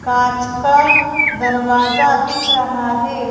कांच का दरवाजा दिख रहा है।